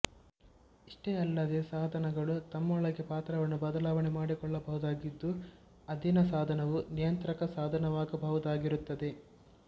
ಇಷ್ಟೇ ಅಲ್ಲದೇ ಸಾಧನಗಳು ತಮ್ಮೊಳಗೆ ಪಾತ್ರವನ್ನು ಬದಲಾವಣೆ ಮಾಡಿಕೊಳ್ಳಬಹುದಾಗಿದ್ದು ಅಧೀನ ಸಾಧನವು ನಿಯಂತ್ರಕ ಸಾಧನವಾಗಬಹುದಾಗಿರುತ್ತದೆ